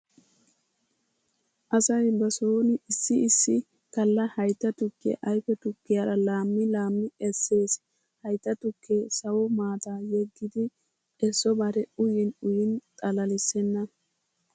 Asay ba sooni issi issi galla haytta tukkiya ayfe tukkiyaara laammi laammi essees. Haytta tukkee sawo maata yeggidi essobare uyin uyin xalalissenna.